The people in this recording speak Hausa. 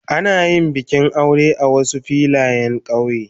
Ana yin bikin aure a Wasu Filayen kauye.